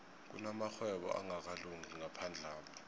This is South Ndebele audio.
kunamarhwebo angakalungi ngaphandlapha